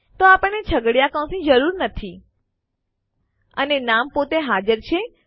તો આપણને છગડીયા કૌંસની જરૂર નથી અને નામ પોતે હાજર છે